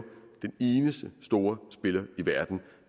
den eneste store spiller i verden